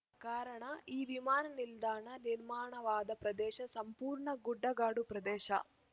ಕಾರಣ ಈ ವಿಮಾನ ನಿಲ್ದಾಣ ನಿರ್ಮಾಣವಾದ ಪ್ರದೇಶ ಸಂಪೂರ್ಣ ಗುಡ್ಡಗಾಡು ಪ್ರದೇಶ